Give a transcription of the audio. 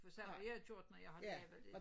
For sådan har jeg gjort når jeg har lavet det